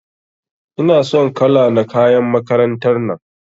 Ina son kala na kayan makarantar nan.